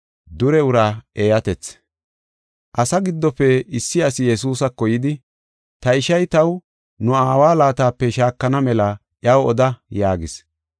Asaa giddofe issi asi Yesuusako yidi, “Ta ishay taw nu aawa laatape shaakana mela iyaw oda” yaagis.